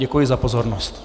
Děkuji za pozornost.